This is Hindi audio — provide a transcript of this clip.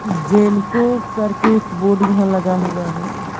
जेन को करके एक बोर्ड यहां लगा हुआ है।